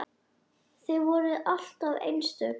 Þið voruð alltaf einstök saman.